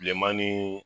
Bilenman ni